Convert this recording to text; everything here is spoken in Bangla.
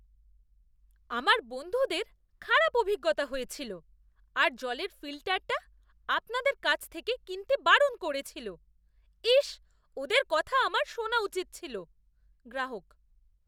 আমার বন্ধুদের খারাপ অভিজ্ঞতা হয়েছিল আর জলের ফিল্টারটা আপনাদের কাছ থেকে কিনতে বারণ করেছিল। ইস্, ওদের কথা আমার শোনা উচিত ছিল। গ্রাহক